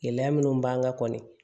Gɛlɛya minnu b'an kan kɔni